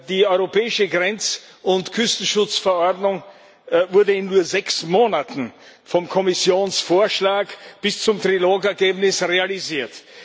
Die europäische Grenz und Küstenschutzverordnung wurde in nur sechs Monaten vom Kommissionsvorschlag bis zum Trilog Ergebnis realisiert.